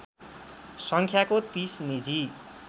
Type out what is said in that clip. सङ्ख्याको ३० निजी